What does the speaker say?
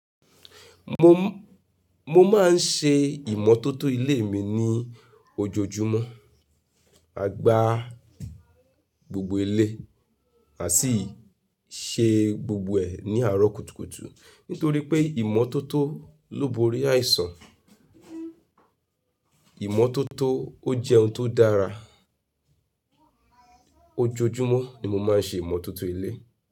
Mo, mo máa ń ṣe ìmọ́tótó ilé mi ní ojoojúmọ́. A gba gbogbo ilé àsíì ṣe gbogbo ẹ̀ ní àárọ̀ kùtùkùtù. Nítorí pé ìmọ́tótó ló borí àìsàn. Ìmọ́tótó ó jẹ́ ohun tó dára. Ojoojúmọ́ ni mo máa ń ṣe ìmọ́tótó ilé.